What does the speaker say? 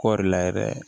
Kɔɔri la yɛrɛ